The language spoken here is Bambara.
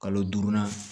Kalo duurunan